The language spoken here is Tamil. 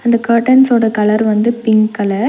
இந்த கன்ர்டன்ஸ் ஓட கலர் வந்து பிங்க் கலர் .